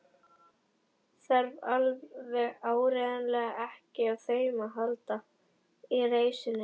Þarf alveg áreiðanlega ekki á þeim að halda í reisunni.